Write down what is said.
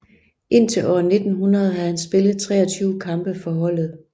Indtil år 1900 havde han spillet 23 kampe for holdet